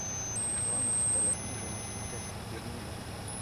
Waa maxay dhalashada Nikita Kering?